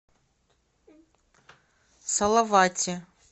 салавате